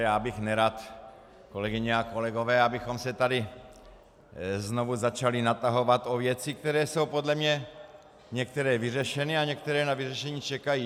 Já bych nerad, kolegyně a kolegové, abychom se tady znovu začali natahovat o věci, které jsou podle mě některé vyřešeny a některé na vyřešení čekají.